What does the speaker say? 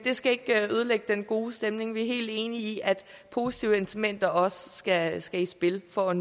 skal ikke ødelægge den gode stemning vi er helt enige i at positive incitamenter også skal skal i spil for at